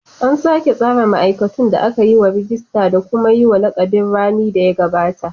An sake tsara ma'aikatun da aka yi rajista da kuma yi wa lakabin rani da ya gabata.